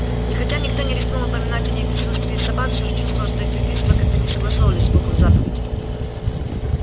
и хотя никто не рискнул упоминать о ней в присутствии собак всё же чувствовалось что эти убийства как-то не согласовывались с духом заповеди